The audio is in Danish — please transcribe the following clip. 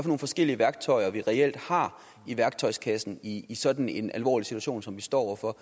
nogle forskellige værktøjer vi reelt har i værktøjskassen i i sådan en alvorlig situation som vi står over for